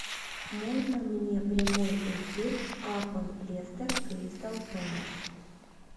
можно мне прямой эфир апл лестер кристал пэлас